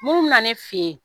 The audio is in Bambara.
Mun bɛ na ne fɛ yen